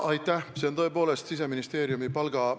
Kas see on ka teie prioriteet?